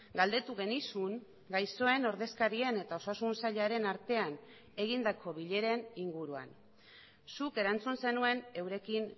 galdetu genizun gaixoen ordezkarien eta osasun sailaren artean egindako bileren inguruan zuk erantzun zenuen eurekin